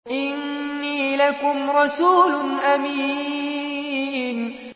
إِنِّي لَكُمْ رَسُولٌ أَمِينٌ